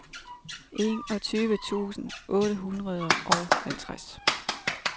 enogtyve tusind otte hundrede og halvtreds